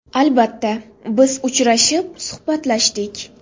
Albatta, biz uchrashib, suhbatlashdik.